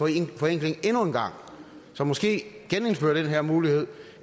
en forenkling som måske genindfører den her mulighed